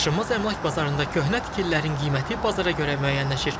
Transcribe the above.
Daşınmaz əmlak bazarında köhnə tikililərin qiyməti bazara görə müəyyənləşir.